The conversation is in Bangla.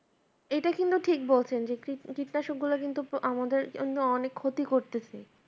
এইটা কিন্তু ঠিক বলছেন যে কীটনাশকগুলা কিন্তু আমাদের জন্য অনেক ক্ষতি করতেছে